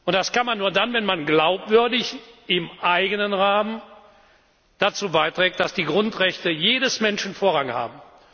Das kann man nur dann, wenn man glaubwürdig im eigenen Rahmen dazu beiträgt, dass die Grundrechte jedes Menschen Vorrang haben.